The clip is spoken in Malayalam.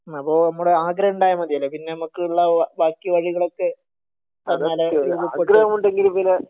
അപ്പൊ നമ്മടെ ആഗ്രഹം ഇണ്ടായ മതിയല്ലേ പിന്നെ നമക്ക് ഉള്ള ബാക്കി വഴികളൊക്കെ തന്നാലെ